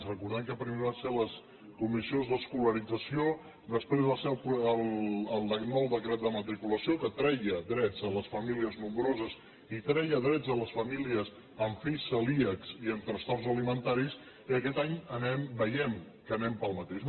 recordem que primer van ser les comissions d’escolarització després va ser el nou decret de matriculació que treia drets a les famílies nombroses i treia drets a les famílies amb fills celíacs i amb trastorns alimentaris i aquest any veiem que anem pel mateix